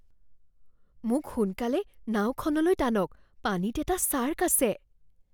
মোক সোনকালে নাওখনলৈ টানক, পানীত এটা ছাৰ্ক আছে।